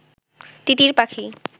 তিতির পাখি